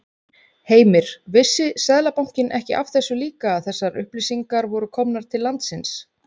Heimir: Vissi Seðlabankinn ekki af þessu líka að þessar upplýsingar voru komnar til landsins?